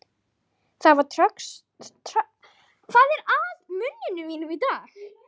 Það var tröllvaxinn Spánverji með henni.